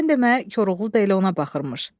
Sən demə, Koroğlu da elə ona baxırmış.